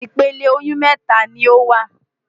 Ìpele oyún mẹ́ta ni ó wà.